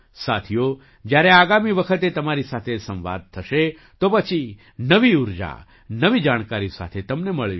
સાથીઓ જ્યારે આગામી વખતે તમારી સાથે સંવાદ થશે તો પછી નવી ઊર્જા નવી જાણકારી સાથે તમને મળીશ